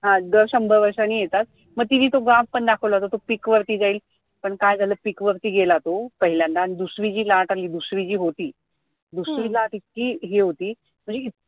हा दार शंभर वर्षांनी येतात मग तिनी तो graph पण दाखवला होता तो pick वरती जाईल पण काय झालं pick वरती गेला तो पहिल्यांदा आणि दुसरी जी लाट आली, दुसरी जी होती दुसरी लाट इतकी हे होती म्हणजे